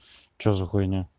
что за хуйня